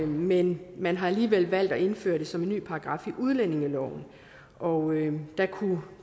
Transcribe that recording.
men man har alligevel valgt at indføre det som en ny paragraf i udlændingeloven og der kunne